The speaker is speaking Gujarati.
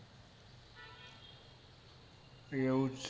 એવું છે